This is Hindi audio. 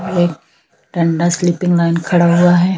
एक ठंडा स्लीपिंग लाइन खड़ा हुआ हैं।